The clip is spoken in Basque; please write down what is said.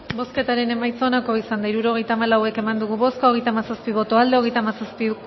bozketaren emaitza onako izan da hirurogeita hamalau eman dugu bozka hogeita hamazazpi boto aldekoa treinta y siete